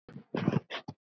Hún fór að gráta.